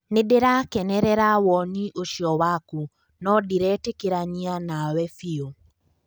Nĩndĩrakenerera woni ũcio waku nũ ndĩretekanĩria nawe biũ